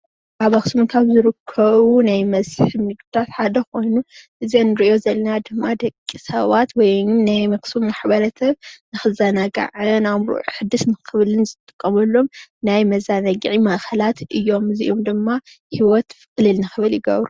ኣብ ኣኽሱም ካብ ዝርከቡ ናይ መስሕብ ንግድትታት ሓደ ኾይኑ እዚ እንሪእኦ ዘለና ድማ ደቂሰባት ወይ ናይ ኣኽሱም ማሕበረሰብ ንኽዘናጋዕ ኣእምሩኡ ንክሓድስ ክብልን ዝጥቀሙሎም ናይ መዘናግዒ ቦታታት እዮም እዚኦም ድማ ሂወት ቕልል ንክብል ይገብሩ።